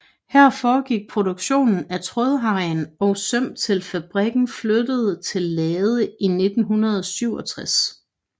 Her foregik produkstion af trådhegn og søm til fabrikken flyttede til Lade i 1967